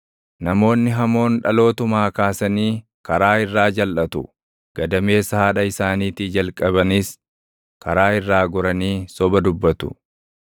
Namoonni hamoon dhalootumaa kaasanii karaa irraa jalʼatu; gadameessa haadha isaaniitii jalqabniis karaa irraa goranii soba dubbatu.